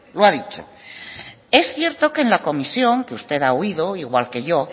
lo ha dicho es cierto que en la comisión que usted ha oído igual que yo